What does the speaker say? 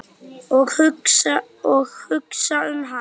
Og hugsa um hann.